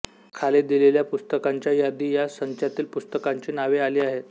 खाली दिलेल्या पुस्तकांच्या यादी या संचातील पुस्तकांची नावे आली आहेत